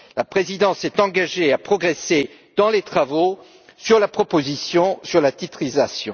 La présidence s'est engagée à progresser dans les travaux relatifs à la proposition sur la titrisation.